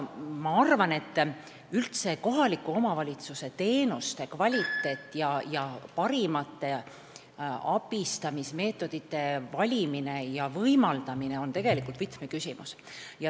Ma arvan, et kohaliku omavalitsuse teenuste kvaliteet ning parimate abistamismeetodite valimine ja võimaldamine on üldse võtmeküsimus.